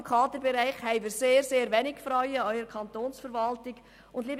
Im Kaderbereich arbeiten gerade in der Kantonsverwaltung äusserst wenige Frauen.